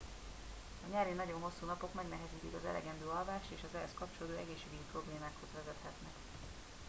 a nyári nagyon hosszú napok megnehezítik az elegendő alvást és az ehhez kapcsolódó egészségügyi problémákhoz vezethetnek